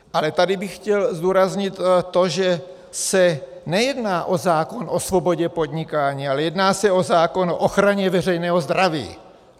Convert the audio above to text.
Ale tady bych chtěl zdůraznit to, že se nejedná o zákon o svobodě podnikání, ale jedná se o zákon o ochraně veřejného zdraví.